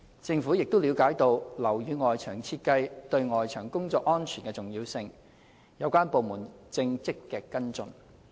政府亦了解到樓宇外牆設計對外牆工作安全的重要性，有關部門正積極跟進。